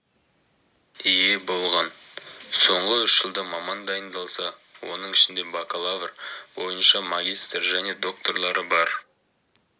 ие болған соңғы үш жылда маман дайындалса оның ішінде бакалавр бойынша магистр және докторлары бар